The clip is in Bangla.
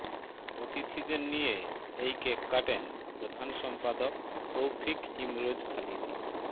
অতিথিদের নিয়ে এই কেক কাটেন প্রধান সম্পাদক তৌফিক ইমরোজ খালিদী